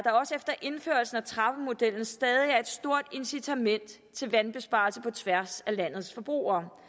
efter indførelsen af trappemodellen stadig er et stort incitament til vandbesparelser på tværs af landets forbrugere